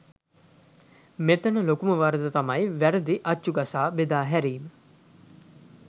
මෙතන ලොකුම වරද තමයි වැරදි අච්චු ගසා බෙදා හැරීම.